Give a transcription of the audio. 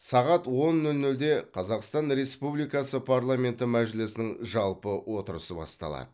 сағат он нөл нөлде қазақстан республикасы парламенті мәжілісінің жалпы отырысы басталады